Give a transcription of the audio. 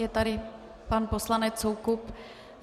Je tady pan poslanec Soukup.